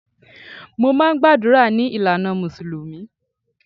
Mo máà ń gbàdúrà ní ìlànà mùsùlùmí